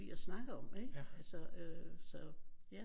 Lide at snakke om ikke altså øh så ja